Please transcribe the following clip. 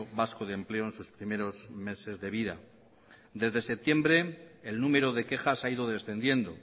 vasco de empleo en sus primeros meses de vida desde septiembre el número de quejas ha ido descendiendo